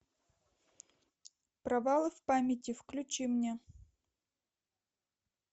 провалы в памяти включи мне